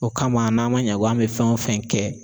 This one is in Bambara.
O kama n'an ma ɲɛ ko an be fɛn o fɛn kɛ